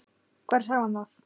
Hvar sá hann það?